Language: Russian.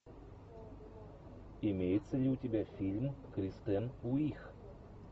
имеется ли у тебя фильм кристен уиг